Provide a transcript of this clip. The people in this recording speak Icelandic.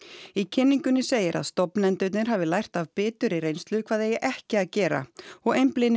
í kynningunni segir að stofnendurnir hafi lært af biturri reynslu hvað eigi ekki að gera og einblíni